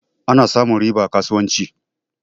Ana samun riba a kasuwanci.